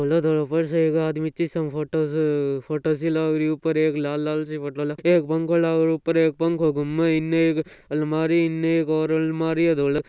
ऊपर से एक आदमी फोटो सी लागरी है उपर एक लाल लाल से फोटो एक पंखा लाग रयो उपर एक पंखो घुमे इने एक अलमारी इने और एक अलमारी धोलो --